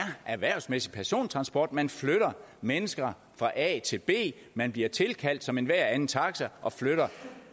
erhvervsmæssig persontransport man flytter mennesker fra a til b man bliver tilkaldt som enhver anden taxa og flytter